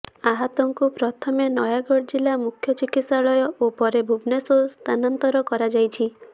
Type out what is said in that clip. ଆହତଙ୍କୁ ପ୍ରଥମେ ନାୟାାଗଡ଼ ଜିଲ୍ଲା ମୁଖ୍ୟ ଚିକିତ୍ସାଳୟ ଓ ପରେ ଭୁବନେଶ୍ୱର ସ୍ଥାନାନ୍ତର କରାଯାଇଛି